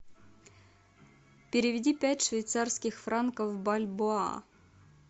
переведи пять швейцарских франков в бальбоа